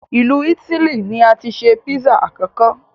Ilu Itili ni ati se Pizza akọkọ